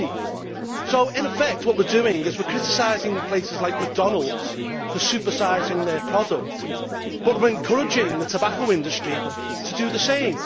20. So in effect what we are doing is, we are criticising places like McDonalds for supersizing their product but we are encouraging the tobacco industry to do the same.